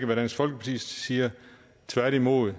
hvad dansk folkeparti siger tværtimod